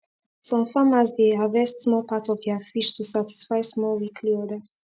some farmers dey harvest small part of their fish to satisfy small weekly orders